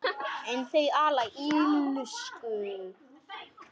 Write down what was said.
En þau ala á illsku.